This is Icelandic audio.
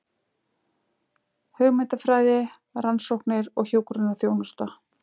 Hugmyndafræði, rannsóknir og hjúkrunarþjónusta.